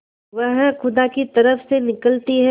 वह खुदा की तरफ से निकलती है